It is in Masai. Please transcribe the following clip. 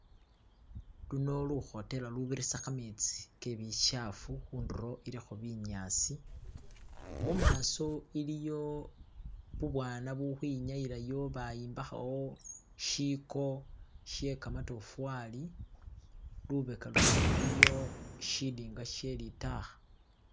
luno luhotela lubirisa khametsi kebichafu hunduro iliho binyasi mumaso iliyo bubwana bulihwinyayilayo bayombahayo shiko she kamatofali lubeka luno iliyo shidinga shelitakha